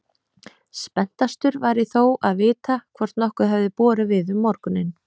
Spenntastur var ég þó að vita hvort nokkuð hefði borið við um morguninn.